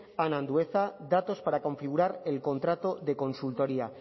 ana andueza datos para configurar el contrato de consultoría